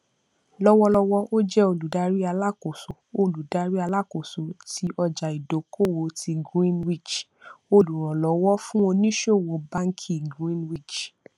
lọwọlọwọ ó jẹ olùdarí alákóso olùdarí alákóso tí ọjàìdókòwò ti greenwich olùrànlówó fún ònísòwò báńkì greenwich